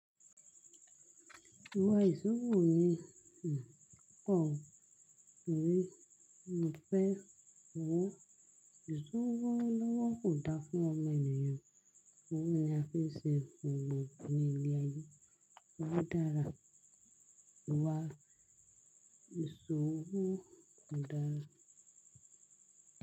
Iwa ìsòwò ni un o po. Mo fẹ́ owó. Ìsòwò lọ́wọ́ kò dára fún ọmọ ènìyàn. Owó ni a fi ń ṣe ohun gbogbo ní ìlẹ̀ ayé. Òwò dára. Iwa ìsòwò kò dára.